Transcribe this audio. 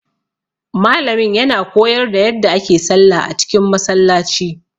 Malamin ya na koyar da yadda ake sallah a cikin Masallaci